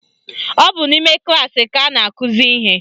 Ọ bụ n'ime klaasị ka a na-akụzi ihe